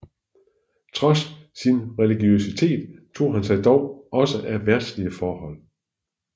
Trods sin religiøsitet tog han sig dog også af verdslige forhold